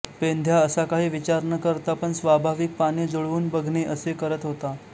पेंद्या असा काही विचार न करता पण स्वाभाविक पाने जुळवून बघणे असे करत होता